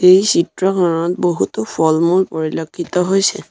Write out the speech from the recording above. এই চিত্ৰখনত বহুতো ফল মূল পৰিলক্ষিত হৈছে।